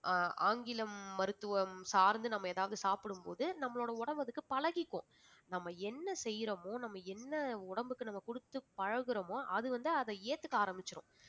ஆஹ் ஆங்கிலம் மருத்துவம் சார்ந்து நம்ம ஏதாவது சாப்பிடும் போது நம்மளோட உடம்பு அதுக்கு பழகிக்கும் நம்ம என்ன செய்யிறோமோ நம்ம என்ன உடம்புக்கு நம்ம கொடுத்து பழகுறோமோ அது வந்து அதை ஏத்துக்க ஆரம்பிச்சிடும்